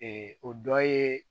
o dɔ ye